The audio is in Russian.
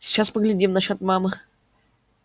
сейчас поглядим насчёт мамы